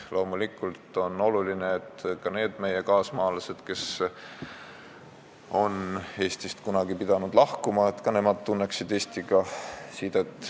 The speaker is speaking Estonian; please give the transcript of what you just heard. Loomulikult on oluline, et ka need meie kaasmaalased, kes on kunagi pidanud siit lahkuma, tunneksid sidet Eestiga.